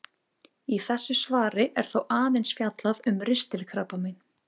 Í þessu svari er þó aðeins fjallað um ristilkrabbamein.